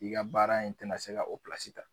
I ka baara in tɛna se ka o pilasi ta.